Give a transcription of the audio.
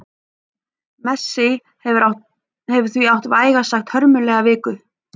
Messi hefur því átt vægast sagt hörmulega viku.